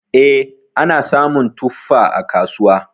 E, ana samun tuffa a kasuwa.